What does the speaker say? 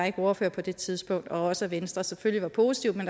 ikke var ordfører på det tidspunkt og også at venstre selvfølgelig var positive men